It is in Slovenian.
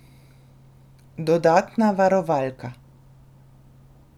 Dodatna varovalka.